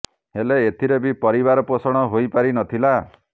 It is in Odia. ହେଲେ ଏଥିରେ ବି ପରିବାର ପୋଷଣ ହୋଇପାରି ନ ଥିଲା